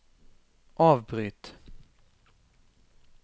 avbryt